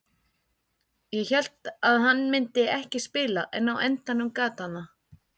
Ég hélt að hann myndi ekki spila en á endanum gat hann það.